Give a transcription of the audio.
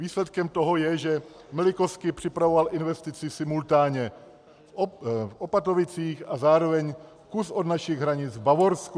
Výsledkem toho je, že Milikoski připravoval investici simultánně v Opatovicích a zároveň kus od našich hranic v Bavorsku.